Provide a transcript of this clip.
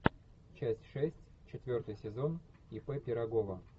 часть шесть четвертый сезон ип пирогова